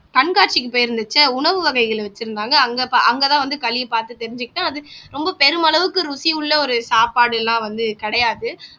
கண்காட்சிக்கு போயிருந்தச்ச உணவு வகைகள் வச்சிருந்தாங்க அங்கதான் வந்து களியை பார்த்து தெரிஞ்சுக்கிட்டேன் அது ரொம்ப பெருமளவுக்கு ருசியுள்ள ஒரு சாப்பாடு எல்லாம் வந்து கிடையாது